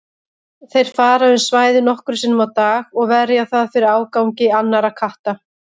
Þeir fara um svæðið nokkrum sinnum á dag og verja það fyrir ágangi annarra katta.